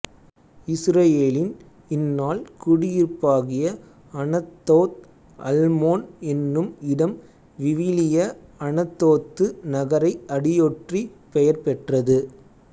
இசுரயேலின் இந்நாள் குடியிருப்பாகிய Anathoth Almon என்னும் இடம் விவிலிய அனத்தோத்து நகரை அடியொற்றி பெயர்பெற்றது